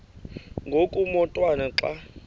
ngoku umotwana xa